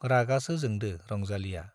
रागासो जोंदो रंजालीया।